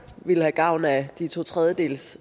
ville have gavn af de to tredjedeles